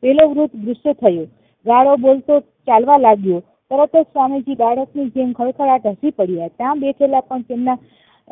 પેલો વૃદ્ધ ગુસ્સે થયો ગાળો બોલતો ચાલવા લાગ્યો તરતજ સ્વામીજી બાળક ની જેમ ખડખડાટ હસી પડ્યા ત્યાં બેઠેલા પંત એમના